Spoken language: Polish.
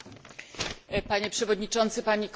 Panie Przewodniczący, Panie Komisarzu!